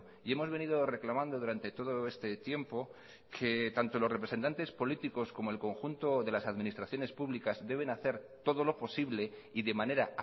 y hemos venido reclamando durante todo este tiempo que tanto los representantes políticos como el conjunto de las administraciones públicas deben hacer todo lo posible y de manera